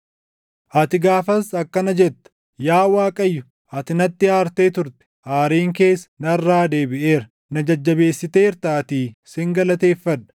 Ati gaafas akkana jetta: “Yaa Waaqayyo, ati natti aartee turte; aariin kees narraa deebiʼeera; na jajjabeessiteertaatii sin galateeffadha.